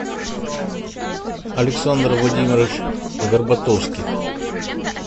александр владимирович горбатовских